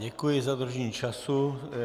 Děkuji za dodržení času.